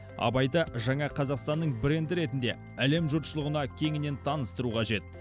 абайды жаңа қазақстанның бренді ретінде әлем жұртшылығына кеңінен таныстыру қажет